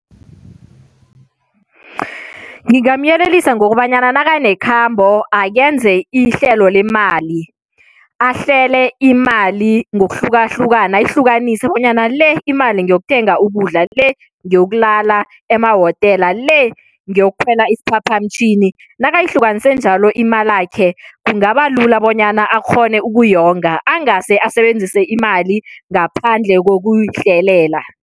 Ngingamyelelisa ngokobanyana nakanekhambo akenze ihlelo lemali. Ahlele imali ngokuhlukahlukana, ayihlukanise bonyana le imali ngeyokuthenga ukudla, le ngeyokulala emahotela, le ngeyokukhwela isiphaphamtjhini. Nakayihlukanise njalo imalakhe, kungaba lula bonyana akghone ukuyonga, angase asebenzise imali ngaphandle kokuyihlelela.